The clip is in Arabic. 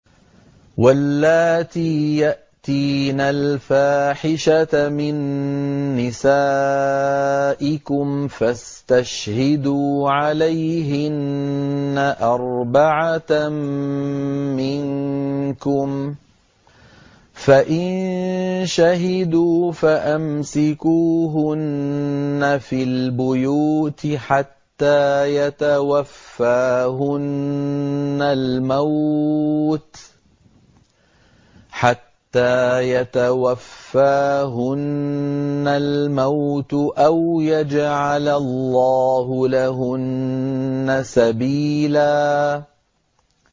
وَاللَّاتِي يَأْتِينَ الْفَاحِشَةَ مِن نِّسَائِكُمْ فَاسْتَشْهِدُوا عَلَيْهِنَّ أَرْبَعَةً مِّنكُمْ ۖ فَإِن شَهِدُوا فَأَمْسِكُوهُنَّ فِي الْبُيُوتِ حَتَّىٰ يَتَوَفَّاهُنَّ الْمَوْتُ أَوْ يَجْعَلَ اللَّهُ لَهُنَّ سَبِيلًا